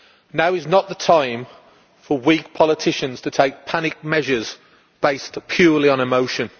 Now is not the time for weak politicians to take panic measures based purely on emotion.